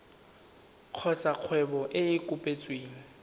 kgotsa kgwebo e e kopetsweng